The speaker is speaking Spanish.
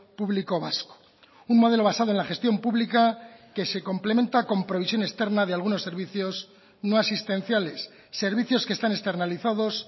público vasco un modelo basado en la gestión pública que se complementa con provisión externa de algunos servicios no asistenciales servicios que están externalizados